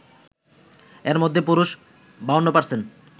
এর মধ্যে পুরুষ ৫২%